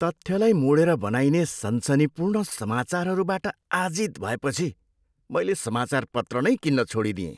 तथ्यलाई मोडेर बनाइने सनसनीपूर्ण समाचारहरूबाट आजित भएपछि मैले समाचारपत्र नै किन्न छोडिदिएँ।